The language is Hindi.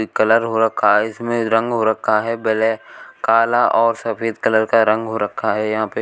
कलर हो रखा है इसमें रंग हो रखा है ब्लै काला और सफेद कलर का रंग हो रखा है यहां पे।